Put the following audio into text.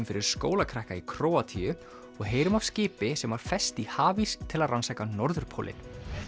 listaverkanámskeiðum fyrir skólakrakka í Króatíu og heyrum af skipi sem var fest í hafís til að rannsaka norðurpólinn